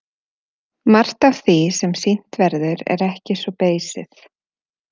Margt af því sem sýnt verður er ekki svo beysið.